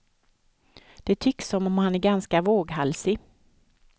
Det tycks som om han är ganska våghalsig.